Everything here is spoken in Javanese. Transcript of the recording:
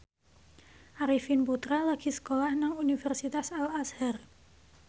Arifin Putra lagi sekolah nang Universitas Al Azhar